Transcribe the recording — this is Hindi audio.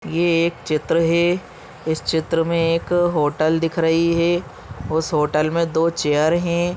ये एक चित्र है इस चित्र मे एक होटल दिख रही है उस होटल मे दो चेयर है।